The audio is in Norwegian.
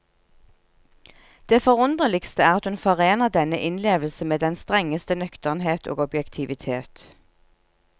Det forunderligste er at hun forener denne innlevelse med den strengeste nøkternhet og objektivitet.